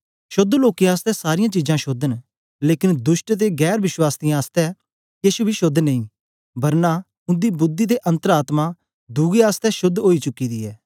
शोद्ध लोकें आसतै सारीयां चीजां शोद्ध न लेकन दुष्ट ते गैर वश्वासीयें आसतै केछ बी शोद्ध नेई बरना उन्दी बुद्धि ते अन्तर आत्मा दुए अस शोद्ध ओई चुकी दी ऐ